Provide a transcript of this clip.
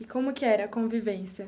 E como que era a convivência?